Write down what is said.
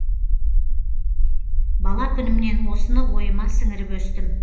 бала күнімнен осыны ойыма сіңіріп өстім